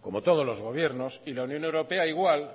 como todos los gobiernos y la unión europea igual